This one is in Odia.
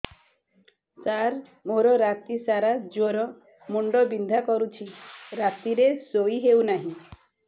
ସାର ମୋର ରାତି ସାରା ଜ୍ଵର ମୁଣ୍ଡ ବିନ୍ଧା କରୁଛି ରାତିରେ ଶୋଇ ହେଉ ନାହିଁ